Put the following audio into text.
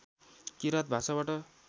किराँत भाषाबाट